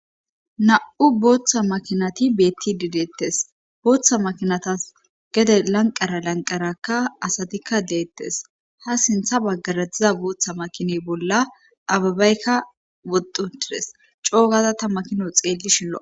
Na'u booththa makinati beetti dideettes booththa makinatas gede lanqara lanqarakka asatikka leettes ha sintha baggaradziza booththa makiney bolla ababaykka woddu tides coogaza ta makino xeelli shillo.